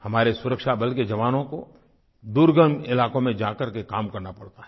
हमारे सुरक्षाबल के जवानों को दुर्गम इलाकों में जा करके काम करना पड़ता है